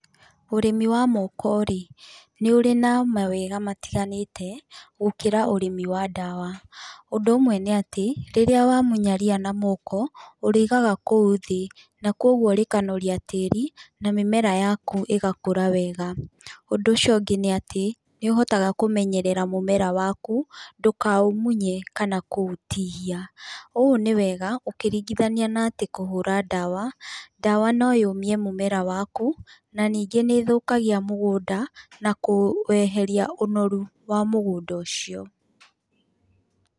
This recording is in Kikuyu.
Ũrĩmi wa moko-rĩ, nĩũrĩ na mawega matiganĩte gũkĩra ũrĩmi wa ndawa, ũndũ ũmwe nĩatĩ, rĩrĩa wamunya ria na moko, ũrĩigaga kũu thĩĩ, na koguo rĩkameria tĩri, na mĩmera yaku ĩgakũra wega, ũndũ ũci ũngĩ nĩ atĩ, nĩũhotaga kũmenyerera mũmera waku, ndũkaũmunye kana kũũtihia, ũũ nĩ wega, ũkĩringithania na atĩ kũhũra ndawa, ndawa noyũmie mũmera waku, ningĩ nĩthũkagia mũgũnda, na kũeheria ũnoru wa mũgũnda ũcio.